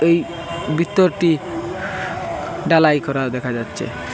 ওই বিতরটি ডালাই করা দেখা যাচ্চে।